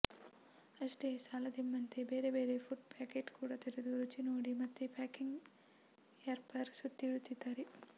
ಅಷ್ಟೇ ಸಾಲದೆಂಬಂತೆ ಬೇರೆ ಬೇರೆ ಫುಡ್ ಪ್ಯಾಕೆಟ್ ಕೂಡಾ ತೆರೆದು ರುಚಿ ನೋಡಿ ಮತ್ತೆ ಪ್ಯಾಕಿಂಗ್ ರ್ಯಾಪರ್ ಸುತ್ತಿ ಇಡುತ್ತಿದ್ದಾನೆ